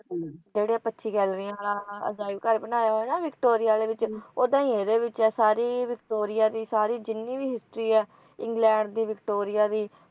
ਜਿਹੜਾ ਪੰਚੀ ਗੈਲਰੀਆਂ ਵਾਲਾ ਅਜਾਇਬਘਰ ਬਣਾਇਆ ਹੋਇਆ ਹੈ ਨਾ ਵਿਕਟੋਰੀਆ ਆਲੇ ਦੇ ਵਿਚ ਉੱਦਾਂ ਹੀ ਇਹਦੇ ਵਿਚ ਹੈ ਸਾਰੀ ਵਿਕਟੋਰੀਆ ਦੀ ਸਾਰੀ ਜਿੰਨੀ ਵੀ history ਹੈ ਇੰਗਲੈਂਡ ਦੀ ਵਿਕਟੋਰੀਆ ਦੀ